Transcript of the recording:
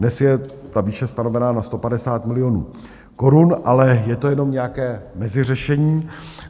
Dnes je ta výše stanovená na 150 milionů korun, ale je to jenom nějaké meziřešení.